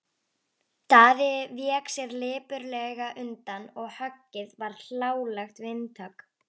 Daði vék sér lipurlega undan og höggið varð hlálegt vindhögg.